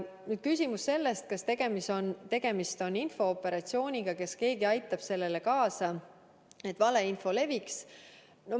Nüüd küsimus selle kohta, kas tegemist on infooperatsiooniga ja kas keegi aitab sellele kaasa, et valeinfo leviks.